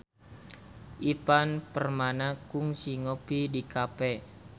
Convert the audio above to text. Ivan Permana kungsi ngopi di cafe